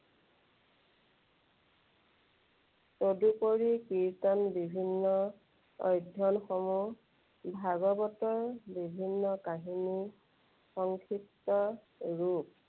তদুপৰি কীৰ্ত্তন বিভিন্ন অধ্যয়নসমূহ ভাগৱতৰ বিভিন্ন কাহিনীৰ সংক্ষিপ্ত ৰূপ।